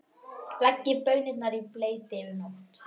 Leggið baunirnar í bleyti yfir nótt.